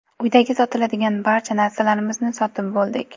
Uydagi sotiladigan barcha narsalarimizni sotib bo‘ldik.